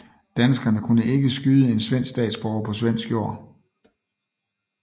Danskerne kunne ikke skyde en svensk statsborger på svensk jord